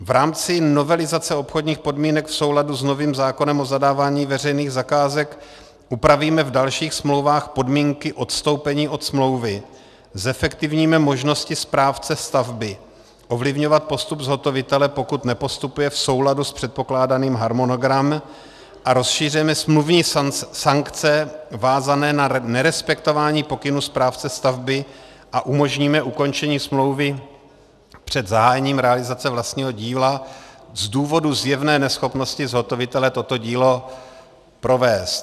V rámci novelizace obchodních podmínek v souladu s novým zákonem o zadávání veřejných zakázek upravíme v dalších smlouvách podmínky odstoupení od smlouvy, zefektivníme možnosti správce stavby ovlivňovat postup zhotovitele, pokud nepostupuje v souladu s předpokládaným harmonogramem, a rozšíříme smluvní sankce vázané na nerespektování pokynů správce stavby a umožníme ukončení smlouvy před zahájením realizace vlastního díla z důvodu zjevné neschopnosti zhotovitele toto dílo provést.